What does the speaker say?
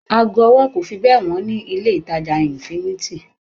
Ago ọwọ́ kò fi bẹ́ẹ̀ wọ́n ní ilé ìtàjà infinity.